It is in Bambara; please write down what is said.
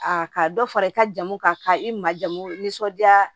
A ka dɔ fara i ka jamu kan ka i ma jamu nisɔndiya